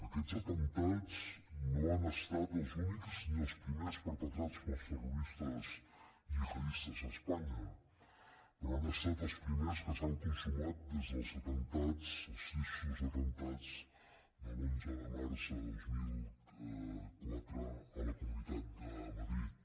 aquests atemptats no han estat els únics ni els primers perpetrats pels terroristes gihadistes a espanya però han estat els primers que s’han consumat des dels atemptats els tristos atemptats de l’onze de març de dos mil quatre a la comunitat de madrid